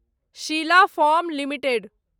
Sheela foam limited